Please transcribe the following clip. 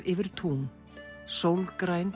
yfir tún